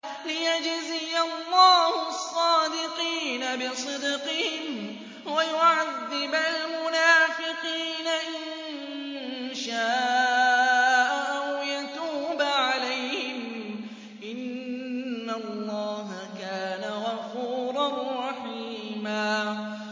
لِّيَجْزِيَ اللَّهُ الصَّادِقِينَ بِصِدْقِهِمْ وَيُعَذِّبَ الْمُنَافِقِينَ إِن شَاءَ أَوْ يَتُوبَ عَلَيْهِمْ ۚ إِنَّ اللَّهَ كَانَ غَفُورًا رَّحِيمًا